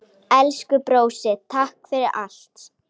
Elsku brósi, takk fyrir allt.